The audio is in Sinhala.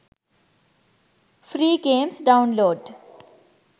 free games download